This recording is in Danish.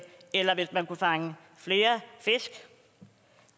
eller hvis man kunne fange flere fisk